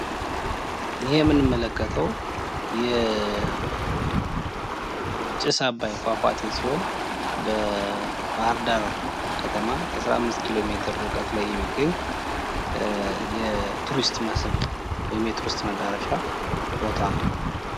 ይህ የምንመለከተው ጭስ አባይ ፏፏቴ ሲሆን በባህር ዳር ከተማ 15 ኪሎ ሜትር የሚገኝ የቱሪስት መስህብ ወይም የቱሪስት መዳረሻ ቦታ ነው።